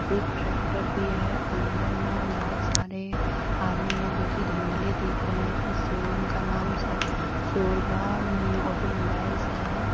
एक ट्रैक्टर भी हैअंदर में बहुत सारे आदमी हैं जो कि धुंधले दिख रहे हैं इस शोरूम का नाम सो सोरभा ऑटोमोबाइल्स है।